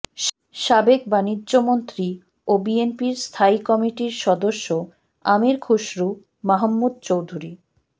সাবেক বাণিজ্যমন্ত্রী ও বিএনপির স্থায়ী কমিটির সদস্য আমীর খসরু মাহমুদ চৌধুরী